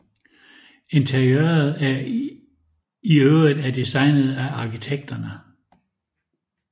Interiøret i øvrigt er designet af arkitekterne